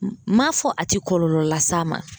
M'a fɔ a tɛ kɔlɔlɔ las'a ma